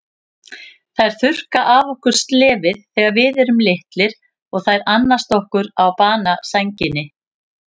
Þær þurrka af okkur slefið þegar við erum litlir og þær annast okkur á banasænginni.